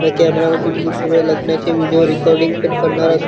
या कॅमेरा मधून मी पुऱ्या लग्नाचे व्हिडिओ रेकॉर्डिंग पण करणारा--